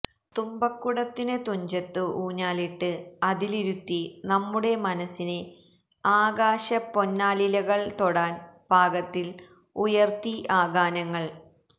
തുമ്പക്കുടത്തിന് തുഞ്ചത്ത് ഊഞ്ഞാലിട്ട് അതിലിരുത്തി നമ്മുടെ മനസ്സിനെ ആകാശപ്പൊന്നാലിലകള് തൊടാന് പാകത്തില് ഉയര്ത്തി ആ ഗാനങ്ങള്